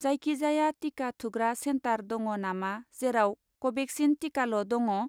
जायखिजाया टिका थुग्रा सेन्टार दङ नामा जेराव कभेक्सिन टिकाल' दङ?